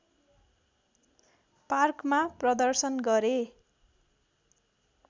पार्कमा प्रदर्शन गरे